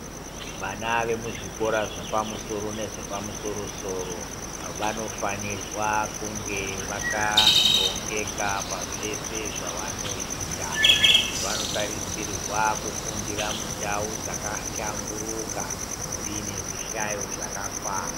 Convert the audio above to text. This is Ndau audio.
Vana veku zvikora zvepa musoro nezvepa musoro soro vanofanirwa kunge vaka rongeka pa zvese zvavano ita vano tarisirwa kufundira mu ndau dzaka hlamburuka dziine zvi hlayo zvakakwana.